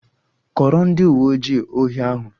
Kọọrọ ndị uwe ojii ohi ahụ!